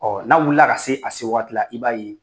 Ɔ n'a wulila ka se a se waati i b'a ye